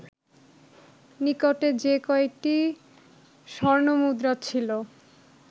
নিকটে যে কয়টি স্বর্ণমুদ্রা ছিল